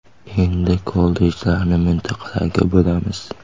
Endi kollejlarni mintaqalarga bo‘lamiz.